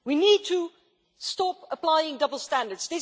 we need to stop applying double standards